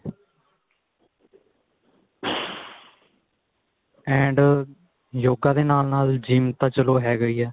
and yoga ਦੇ ਨਾਲ ਨਾਲ GYM ਤਾਂ ਚਲੋ ਹੈਗਾ ਈ ਏ